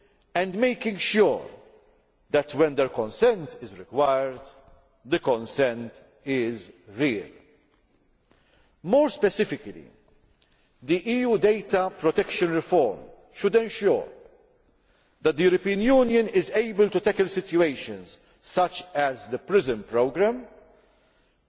and making sure that, when their consent is required, the consent is real. More specifically, the EU data protection reform should ensure that the European Union is able to tackle situations such as the PRISM programme by laying